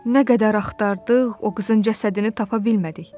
Nə qədər axtardıq, o qızın cəsədini tapa bilmədik.